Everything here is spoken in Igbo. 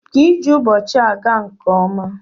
Ka ije ụbọchị a gaa nke ọma.